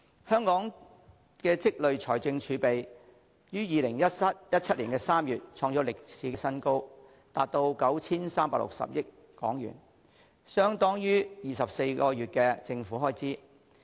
香港的累積財政儲備於2017年3月創歷史新高，達 9,360 億元，相等於24個月的政府開支。